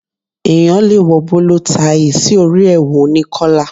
Èèyàn le wọ bóló taì sí orí èwù oní kọ́là.